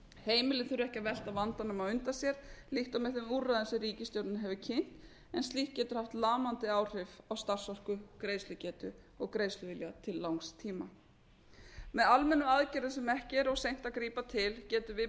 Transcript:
heimilin þurfa ekki að velta vandanum á undan sér líkt og með þeim úrræðum sem ríkisstjórnin hefur kynnt en slíkt getur haft lamandi áhrif á starfsorku greiðslugetu og greiðsluvilja til langs tíma með almennum aðgerðum sem ekki er of seint að grípa til getum við blásið von í